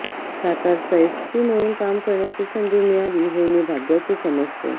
सातारचा SP म्हणून काम करण्याची संधी मिळाली हे मी भाग्याचे समजतो